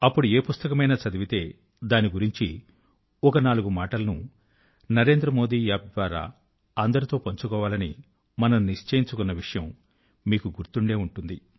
అప్పుడు ఏ పుస్తకమైనా చదివితే దాన్ని గురించి ఒక నాలుగు మాటలను నరేంద్రమోది App ద్వారా అందరితో పంచుకోవాలని మనం నిశ్చయించుకున్న విషయం మీకు గుర్తు ఉండే ఉంటుంది